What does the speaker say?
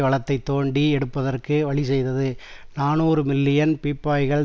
வளத்தை தோண்டி எடுப்பதற்கு வழி செய்தது நாநூறு மில்லியன் பீப்பாய்கள்